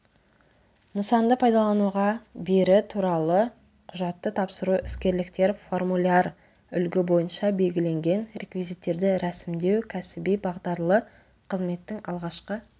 нысанды пайдалануға бері туралы құжатты тапсыру іскерліктер формуляр-үлгі бойынша белгіленген реквизиттерді рәсімдеу кәсіби бағдарлы қызметтің алғашқы